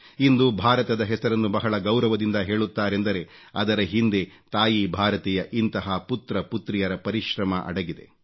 ಇಂದು ಭಾರತದ ಹೆಸರನ್ನು ಬಹಳ ಗೌರವದಿಂದ ಹೇಳುತ್ತಾರೆಂದರೆ ಅದರ ಹಿಂದೆ ತಾಯಿ ಭಾರತಿಯ ಇಂತಹ ಪುತ್ರಪುತ್ರಿಯರ ಪರಿಶ್ರಮ ಅಡಗಿದೆ